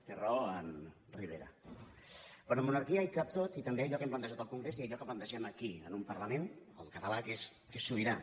té raó en rivera però en monarquia hi cap tot i també allò que hem plantejat al congrés i allò que plantegem aquí en un parlament el català que és sobirà